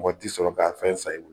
Mɔgɔ tɛ sɔrɔ k'a fɛn san i bolo